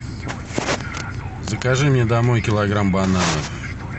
закажи мне домой килограмм бананов